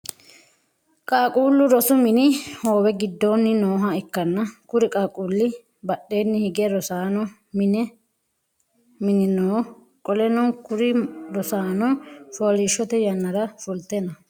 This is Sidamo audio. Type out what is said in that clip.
Qaaquulu rosu mini hoowe gidoonni nooha ikanna kuri qaaqquuli badheenni hige rosanno mini no. Qoleno kuri rosaano fooliishote yannara fulte no.